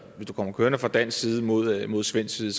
du kommer kørende fra dansk side mod mod svensk side